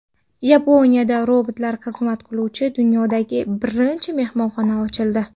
Yaponiyada robotlar xizmat qiluvchi dunyodagi birinchi mehmonxona ochildi.